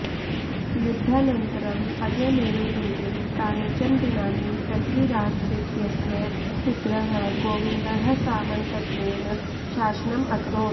युद्धानन्तरम् अजयमेरुदुर्गे कानिचन दिनानि पृथ्वीराजतृतीयस्य पुत्रः गोविन्दः सामन्तत्वेन शासनम् अकरोत्